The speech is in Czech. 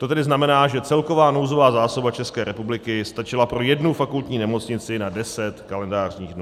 To tedy znamená, že celková nouzová zásoba České republiky stačila pro jednu fakultní nemocnici na 10 kalendářních dnů.